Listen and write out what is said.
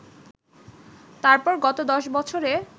তারপর গত দশ বছরে